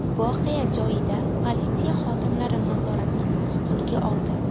Voqea joyida politsiya xodimlari nazoratni o‘z qo‘liga oldi.